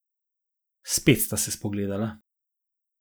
Spet sta se spogledala.